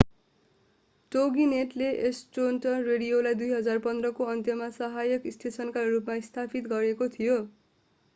टोगीनेटले Astronet रेडियोलाई 2015 को अन्तमा सहायक स्टेशनका रूपमा स्थापित गरेका थिए